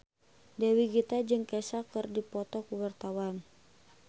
Dewi Gita jeung Kesha keur dipoto ku wartawan